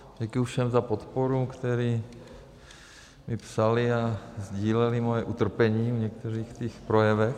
Děkuji všem za podporu, kteří mi psali a sdíleli moje utrpení při některých těch projevech.